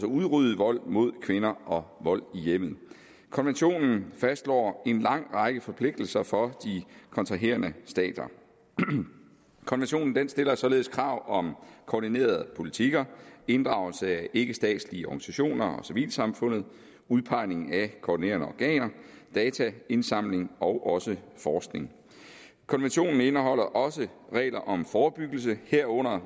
udrydde vold mod kvinder og vold i hjemmet konventionen fastslår en lang række forpligtelser for de kontraherende stater den stiller således krav om koordinerede politikker inddragelse af ikkestatslige organisationer og civilsamfundet udpegning af koordinerende organer dataindsamling og også forskning konventionen indeholder også regler om forebyggelse herunder